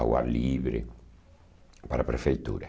Água livre para a prefeitura.